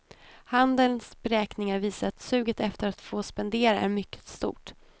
Handelns beräkningar visar att suget efter att få spendera är mycket stort.